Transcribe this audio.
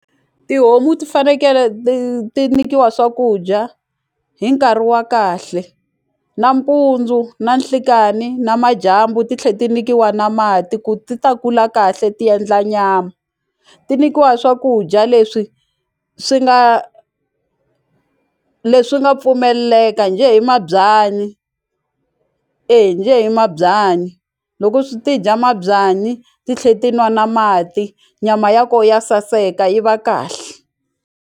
Tihomu ti fanekele ti ti nyikiwa swakudya hi nkarhi wa kahle nampundzu, nanhlikani, namadyambu titlhe ti nikiwa na mati ku ti ta kula kahle ti endla nyama ti nikiwa swakudya leswi swi nga leswi nga pfumeleleka njhe hi mabyanyi e njhe hi mabyanyi loko swi ti dya mabyanyi ti tlhe ti nwa na mati nyama ya ko ya saseka yi va kahle.